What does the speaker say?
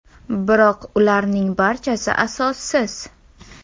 Biroq ularning barchasi asossiz.